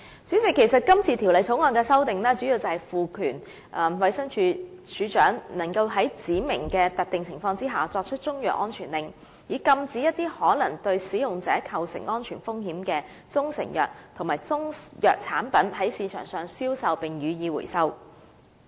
主席，今次《條例草案》的修訂，主要是賦權衞生署署長在指明的特定情況下作出中藥安全令，以禁止一些可能對使用者構成安全風險的中成藥及中藥產品在市場上銷售，並予以收回。